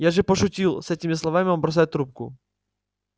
я же пошутил с этими словами он бросает трубку